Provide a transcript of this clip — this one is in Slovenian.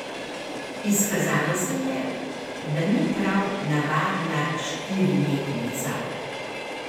Izkazalo se je, da ni prav navadna štiri letnica.